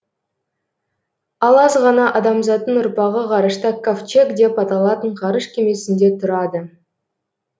ал аз ғана адамзаттың ұрпағы ғарышта кавчег деп аталатын ғарыш кемесінде тұрады